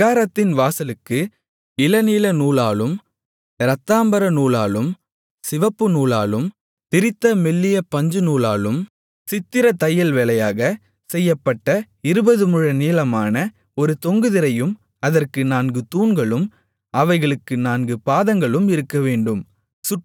பிராகாரத்தின் வாசலுக்கு இளநீலநூலாலும் இரத்தாம்பரநூலாலும் சிவப்புநூலாலும் திரித்த மெல்லிய பஞ்சுநூலாலும் சித்திரத் தையல்வேலையாகச் செய்யப்பட்ட இருபதுமுழ நீளமான ஒரு தொங்கு திரையும் அதற்கு நான்கு தூண்களும் அவைகளுக்கு நான்கு பாதங்களும் இருக்கவேண்டும்